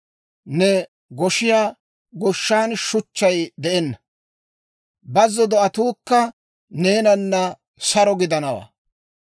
Ne goshiyaa goshshan shuchchay de'enna; bazzo do'atuukka neenanna saro gidanawantta.